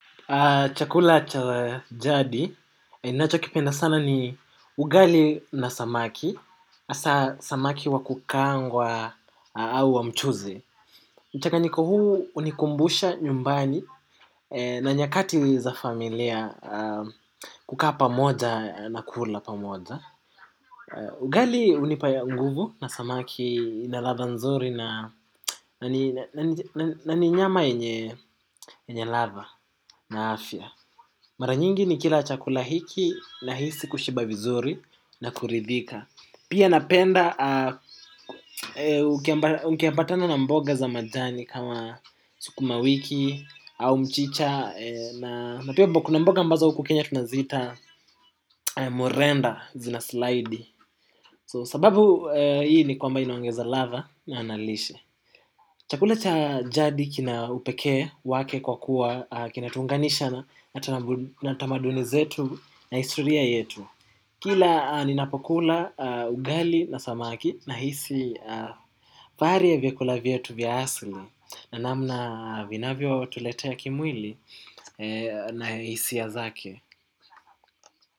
Chakula cha jadi, inacho kipenda sana ni ugali na samaki, asa samaki wa kukaangwa au wa mchuzi. Mchanganiko huu unikumbusha nyumbani na nyakati za familia kukaa pamoja na kula pamoja. Ugali unipa nguvu na samaki ina latha nzuri na ni nyama yenye latha na afya mara nyingi nikila chakula hiki nahisi kushiba vizuri na kuridhika pia napenda ukiambatana na mboga za majani kama sukuma wiki au mchicha. Na pia kuna mboga mbaza uku kenya tunazita murenda zina slide So sababu hii ni kwamba inaongeza lava na analishe. Chakula cha jadi kina upekee wake kwa kuwa kina tunganisha na tamaduni zetu na istoria yetu. Kila ni napokula ugali na samaki nahisi faari ya vyakula vyetu vya asli na namna vinavyo tuletea kimwili na hisia zake.